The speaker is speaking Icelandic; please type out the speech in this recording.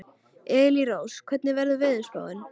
Elírós, hvernig er veðurspáin?